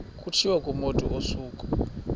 kutshiwo kumotu osuke